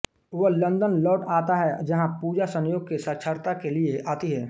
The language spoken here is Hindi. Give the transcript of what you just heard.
वह लंदन लौट आता है जहां पूजा संयोग से साक्षात्कार के लिए आती है